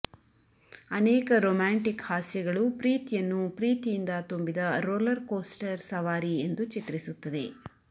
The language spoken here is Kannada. ಅನೇಕ ರೋಮ್ಯಾಂಟಿಕ್ ಹಾಸ್ಯಗಳು ಪ್ರೀತಿಯನ್ನು ಪ್ರೀತಿಯಿಂದ ತುಂಬಿದ ರೋಲರ್ ಕೋಸ್ಟರ್ ಸವಾರಿ ಎಂದು ಚಿತ್ರಿಸುತ್ತದೆ